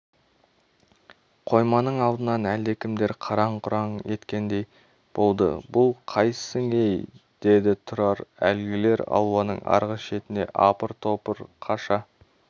қойманың алдынан әлдекімдер қараң-құраң еткендей болды бұл қайсың-ей деді тұрар әлгілер ауланың арғы шетіне апыр-топыр қаша